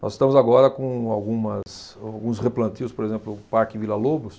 Nós estamos agora com algumas, alguns replantios, por exemplo, o Parque Vila Lobos,